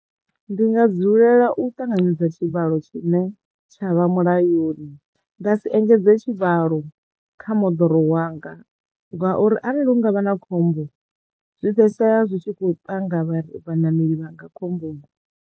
Ndi nga dzulela u ṱanganedza tshivhalo tshine tshavha mulayoni nda si engedze tshivhalo kha moḓoro wanga ngauri arali hu ngavha na khombo zwifhedzisela zwi tshi khou panga vhaṋameli vhanga khombo.